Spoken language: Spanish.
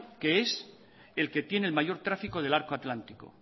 es el que tiene mayor tráfico del arco atlántico